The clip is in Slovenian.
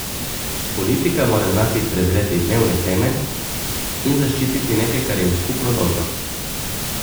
Politika mora znati prezreti dnevne teme in zaščititi nekaj, kar je v skupno dobro.